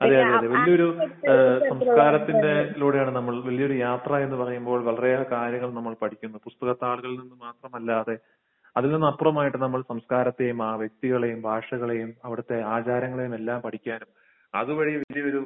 അതെ. അതെ. വലിയൊരു ഏഹ് സംസ്കാരത്തിന്റെ ലൂടെയാണ് നമ്മൾ വലിയൊരു യാത്രയെന്ന് പറയുമ്പോൾ വളരെയേറെ കാര്യങ്ങൾ നമ്മൾ പഠിക്കുന്നു. പുസ്തകത്താളുകളിൽ നിന്ന് മാത്രമല്ലാതെ അതിലും അപ്പുറമായിട്ട് നമ്മൾ സംസ്കാരത്തെയും ആ വ്യക്തികളെയും ആ ഭാഷകളെയും അവിടുത്തെ ആചാരങ്ങളെയും എല്ലാം പഠിക്കാനും അതുവഴി വലിയൊരു